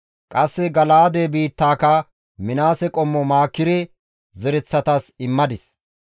Qasse Gala7aade biittaaka Minaase qommo Maakire zereththatas immadis.